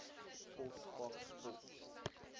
pos faks pos